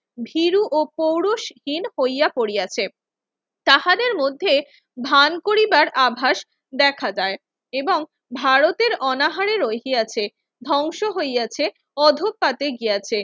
ভীরু ও পৌরষহীন হইয়া পড়িয়াছে। তাহাদের মধ্যে ভান করিবার আভাস দেখা যায় এবং ভারতের অনাহারের ঐকি আছে, ধ্বংস হইয়াছে, অধঃপাতে গিয়াছে।